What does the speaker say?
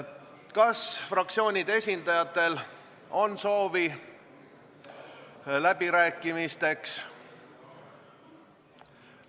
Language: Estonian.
Kas fraktsioonide esindajatel on soovi läbirääkimisteks?